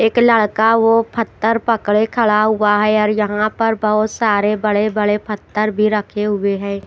एक लड़का वो फत्थर पकड़े खड़ा हुआ है और यहां पर बहोत सारे बड़े बड़े फत्थर भी रखे हुए हैं।